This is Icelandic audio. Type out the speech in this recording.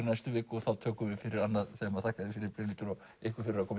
næstu viku og þá tökum við fyrir annað þema þakka þér fyrir Brynhildur og ykkur fyrir að koma